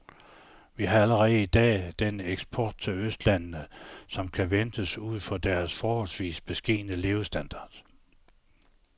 Vi har allerede i dag den eksport til østlandene, som kan ventes ud fra deres forholdsvis beskedne levestandard.